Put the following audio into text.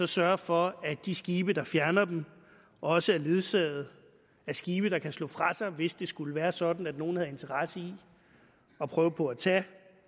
sørger for at de skibe der fjerner dem også er ledsaget af skibe der kan slå fra sig hvis det skulle være sådan at nogen havde interesse i at prøve på at tage